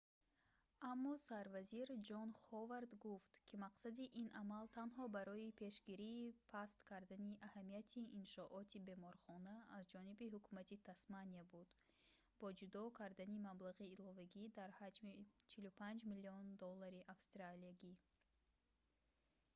аммо сарвазир ҷон ҳовард гуфт ки мақсади ин амал танҳо барои пешгирии паст кардани аҳамияти иншооти беморхона аз ҷониби ҳукумати тасмания буд бо ҷудо кардани маблағи иловагӣ дар ҳаҷми 45 миллион доллари австралиягӣ